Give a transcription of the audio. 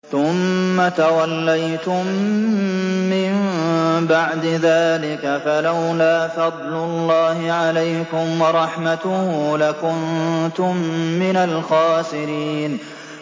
ثُمَّ تَوَلَّيْتُم مِّن بَعْدِ ذَٰلِكَ ۖ فَلَوْلَا فَضْلُ اللَّهِ عَلَيْكُمْ وَرَحْمَتُهُ لَكُنتُم مِّنَ الْخَاسِرِينَ